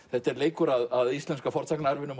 þetta er leikur að íslenska